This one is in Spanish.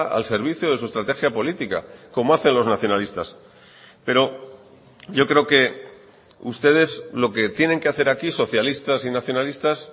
al servicio de su estrategia política como hacen los nacionalistas pero yo creo que ustedes lo que tienen que hacer aquí socialistas y nacionalistas